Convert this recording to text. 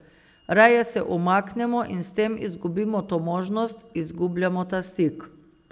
Raje se umaknemo in s tem izgubimo to možnost, izgubljamo ta stik.